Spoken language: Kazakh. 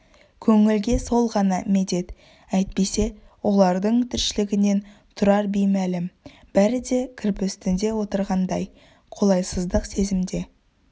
көңілге сол ғана медет әйтпесе олардың тіршілігінен тұрар беймәлім бәрі де кірпі үстінде отырғандай қолайсыздық сезімде